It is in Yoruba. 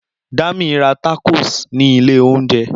Dami ra tákòs ni ilẹ̀ oúnjẹ